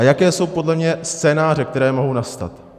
A jaké jsou podle mě scénáře, které mohou nastat?